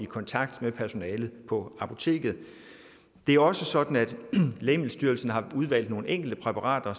kontakte personalet på apoteket det er også sådan at lægemiddelstyrelsen har udvalgt nogle enkelte præparater